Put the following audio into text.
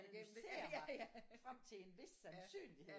Analysere mig frem til en hvis sandsynlighed